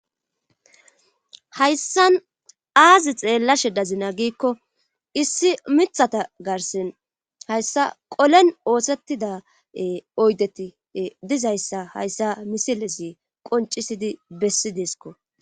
Hayssan aazi xeellashe dazina giikko issi mithata garsen hayssa golen oosettida oydeti dizayssa hayssa misilesi qoncisidi bessi deeskko